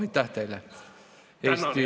Aitäh teile!